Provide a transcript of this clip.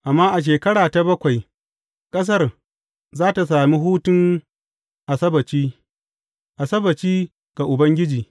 Amma a shekara ta bakwai, ƙasar za tă sami hutun Asabbaci, Asabbaci ga Ubangiji.